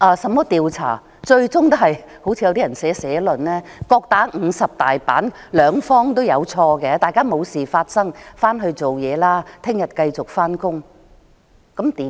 甚麼調查最終也是一如部分社論所說的"各打五十大板"，雙方也有錯誤的，大家當作沒事發生，回去工作，明天繼續上班。